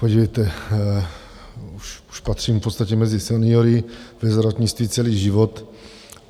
Podívejte, už patřím v podstatě mezi seniory, ve zdravotnictví celý život.